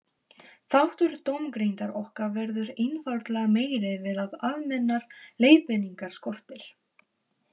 Þáttur dómgreindar okkar verður einfaldlega meiri við að almennar leiðbeiningar skortir.